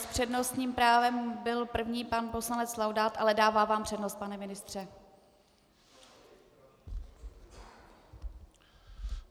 S přednostním právem byl první pan poslanec Laudát, ale dává vám přednost, pane ministře.